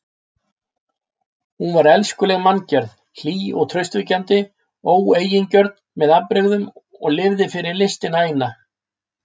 Hún var elskuleg manngerð, hlý og traustvekjandi, óeigingjörn með afbrigðum og lifði fyrir listina eina.